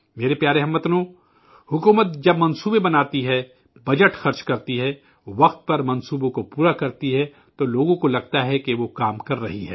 میرے پیارے ہم وطنو، حکومت جب اسکیمیں تیار کرتی ہے، بجٹ خرچ کرتی ہے، وقت پر پروجیکٹوں کو مکمل کرتی ہے تو لوگوں کو لگتا ہے کہ وہ کام کر رہی ہے